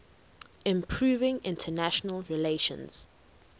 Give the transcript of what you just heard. improving international relations